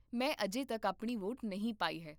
ਮੈਂ ਅਜੇ ਤੱਕ ਆਪਣੀ ਵੋਟ ਨਹੀਂ ਪਾਈ ਹੈ